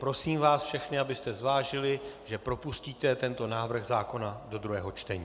Prosím vás všechny, abyste zvážili, že propustíte tento návrh zákona do druhého čtení.